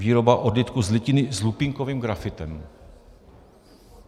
Výroba odlitků z litiny s lupínkovým grafitem.